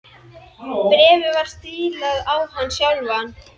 Bréfið var stílað á hann sjálfan.